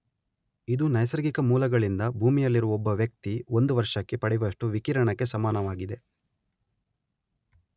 ಇದು ನೈಸರ್ಗಿಕ ಮೂಲಗಳಿಂದ ಭೂಮಿಯಲ್ಲಿರುವ ಒಬ್ಬ ವ್ಯಕ್ತಿ ಒಂದು ವರ್ಷಕ್ಕೆ ಪಡೆವಷ್ಟು ವಿಕಿರಣಕ್ಕೆ ಸಮನಾಗಿದೆ